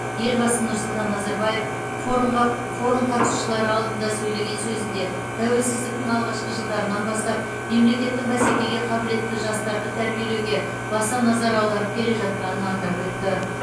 елбасы нұрсұлтан назарбаев форумға форум қатысушылары алдында сөйлеген сөзінде тәуелсіздіктің алғашқы жылдарынан бастап мемлекеттің бәсекеге қабілетті жастарды тәрбиелеуге баса назар аударып келе жатқанын атап өтті